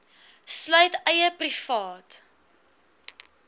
sluit eie privaat